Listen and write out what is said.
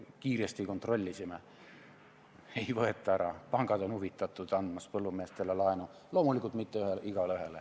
Kiiresti kontrollisime – ei võeta ära, pangad on huvitatud andmast põllumeestele laenu, aga loomulikult mitte igaühele.